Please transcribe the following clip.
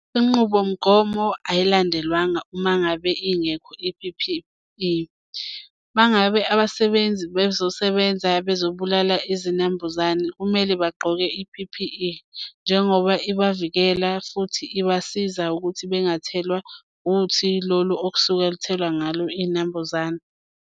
Inqubomgomo ayilandelwanga uma ngabe ingekho i-P_P_E. Uma ngabe abasebenzi bezosebenza bezobulala izinambuzane kumele bagqoke i-P_P_E njengoba ibavikela futhi ibasiza ukuthi bengathelwa uthi lolu okusuke luthelwa ngalo inambuzane.